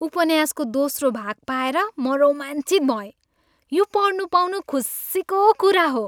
उपन्यासको दोस्रो भाग पाएर म रोमाञ्चित भएँ। यो पढ्नु पाउनु खुसीको कुरा हो।